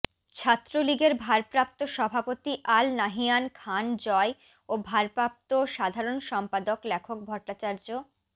ছাত্রলীগের ভারপ্রাপ্ত সভাপতি আল নাহিয়ান খান জয় ও ভারপ্রাপ্ত সাধারণ সম্পাদক লেখক ভট্টাচার্য